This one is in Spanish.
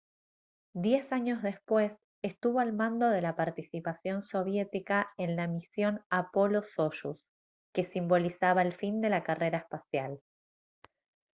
diez años después estuvo al mando de la participación soviética en la misión apollo-soyuz que simbolizaba el fin de la carrera espacial